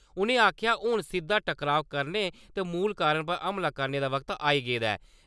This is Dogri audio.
उ'नें आखेआ हून सिद्दा टकराव करने ते मूल कारण पर हमला करने दा वक्त आई गेदा ऐ।